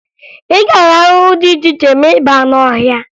Ị ga-ahụ ahụhụ dị iche iche ma ị baa n'ọhịa